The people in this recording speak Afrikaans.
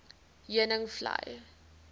heuningvlei